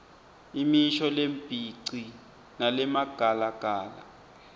imisho lembici nalemagalagala